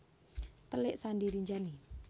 Telik Sandi Rinjani